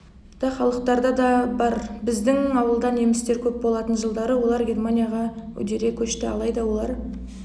да халықтарда бар біздің ауылда немістер көп болатын жылдары олар германияға үдере көшті алайда олар